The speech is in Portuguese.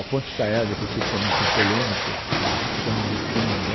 A Ponte Estaiada, que eu sei que também tem polêmicas né, cha chamam de Estilingão.